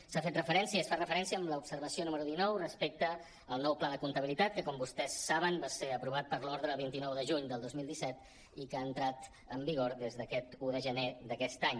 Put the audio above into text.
s’ha fet referència es fa referència en l’observació número dinou al nou pla de comp·tabilitat que com vostès saben va ser aprovat per l’ordre del vint nou de juny del dos mil disset i que ha entrat en vigor aquest un de gener d’aquest any